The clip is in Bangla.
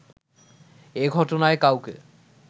এ ঘটনায় কাউকে